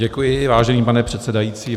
Děkuji, vážený pane předsedající.